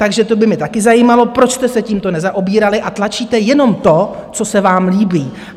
Takže to by mě taky zajímalo, proč jste se tímto nezaobírali a tlačíte jenom to, co se vám líbí?